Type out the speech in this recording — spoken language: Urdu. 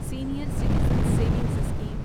senior citizen savings scheme